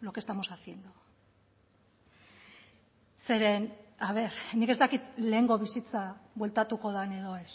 lo que estamos haciendo zeren a ver nik ez dakit lehengo bizitza bueltatuko den edo ez